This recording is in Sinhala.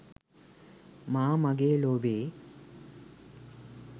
මා මගේ ලොවේ